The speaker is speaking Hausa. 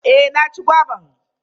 Eh ya ci goba.